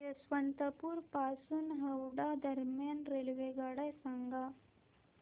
यशवंतपुर पासून हावडा दरम्यान रेल्वेगाड्या सांगा